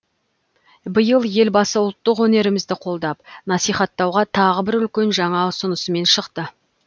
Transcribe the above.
биыл елбасы ұлттық өнерімізді қолдап насихаттауға тағы бір үлкен жаңа ұсынысымен шықты